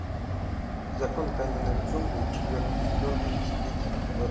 закон каменных джунглей четвертый сезон тридцать третий эпизод